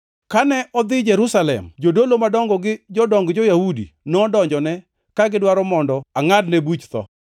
Kane adhi Jerusalem, jodolo madongo gi jodong jo-Yahudi nodonjone ka gidwaro mondo angʼadne buch tho.